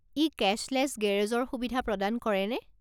ই কেশ্বলেছ গেৰেজৰ সুবিধা প্ৰদান কৰেনে?